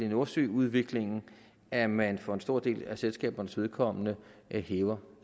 nordsøudviklingen at man for en stor del af selskabernes vedkommende hæver